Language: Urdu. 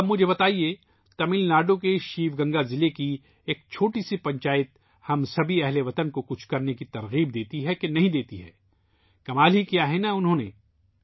اب مجھے بتائیے ، تمل ناڈو کے شیو گنگا ضلع کی ایک چھوٹی سی پنچایت ہم سبھی ہم وطنوں کو کچھ کرنے کی تحریک دیتی ہے یا نہیں ،کمال ہی کیا ہے نا انہوں